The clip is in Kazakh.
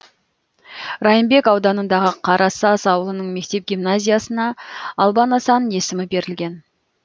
райымбек ауданындағы қарасаз ауылының мектеп гимназиясына албан асан есімі берілген